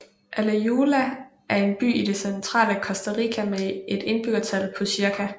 Alajuela er en by i det centrale Costa Rica med et indbyggertal på cirka